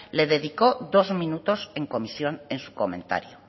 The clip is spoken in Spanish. le dedicó dos minutos en comisión en su comentario